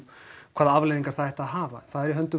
hvaða afleiðingar það ætti að hafa það er í höndum